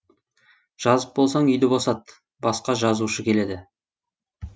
жазып болсаң үйді босат басқа жазушы келеді